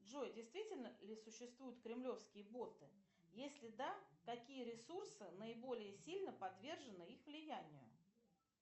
джой действительно ли существуют кремлевские боты если да какие ресурсы наиболее сильно подвержены их влиянию